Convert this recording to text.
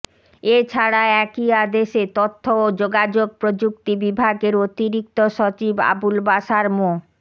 এ ছাড়া একই আদেশে তথ্য ও যোগাযোগ প্রযুক্তি বিভাগের অতিরিক্ত সচিব আবুল বাশার মো